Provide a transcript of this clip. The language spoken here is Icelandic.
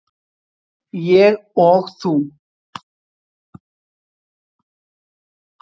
Ég og þú.